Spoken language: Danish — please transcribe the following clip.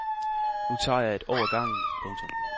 Nu tager jeg et år ad gangen. punktum